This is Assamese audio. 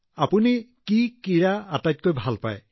আপুনি কোনটো খেল বেছি ভাল পায়